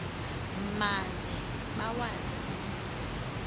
maze bawazi umzi